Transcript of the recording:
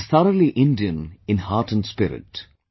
It is thoroughly Indian in heart & spirit